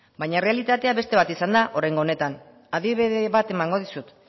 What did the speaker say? baina errealitatea beste bat izan da oraingo honetan adibide bat emango dizut